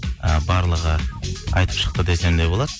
ы барлығы айтып шықты десем де болады